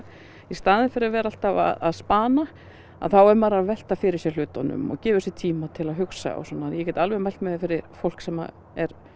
í staðin fyrir að vera alltaf að að þá er maður að velta fyrir sér hlutunum og gefur sér tíma til að hugsa og svona ég get alveg mælt með fyrir fólk sem er